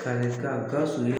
Kalekan GAWUSU ye.